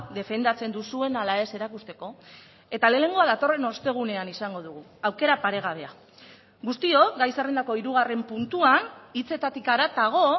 defendatzen duzuen ala ez erakusteko eta lehenengoa datorren ostegunean izango dugu aukera paregabea guztiok gai zerrendako hirugarren puntuan hitzetatik haratago